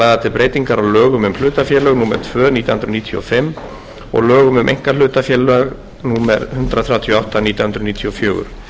breytingar á lögum um hlutafélög númer tvö nítján hundruð níutíu og fimm og lögum um einkahlutafélög númer hundrað þrjátíu og átta nítján hundruð níutíu og fjögur